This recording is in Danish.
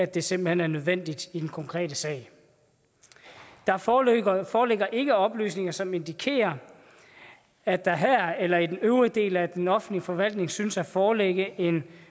det simpelt hen er nødvendigt i den konkrete sag der foreligger foreligger ikke oplysninger som indikerer at der her eller i den øvrige del af den offentlige forvaltning synes at foreligge en